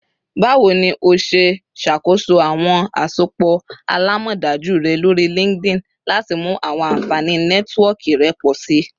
Bawo ni o ṣe ṣakoso awọn asopọ alamọdaju rẹ lori LinkedIn lati mu awọn anfani Nẹtiwọọki rẹ pọ si?